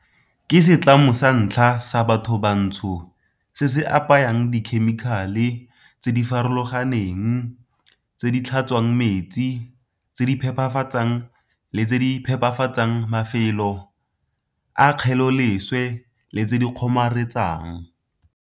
Ke setlamo sa ntlha sa bathobantsho se se apayang dikhemikhale tse di farologaneng tse di tlhatswang metsi, tse di phepafatsang le tse di phepafatsang mafelo a kgeleloleswe le tse di kgomaretsang.